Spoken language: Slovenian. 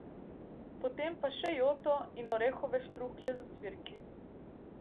Potem pa še joto in orehove štruklje z ocvirki.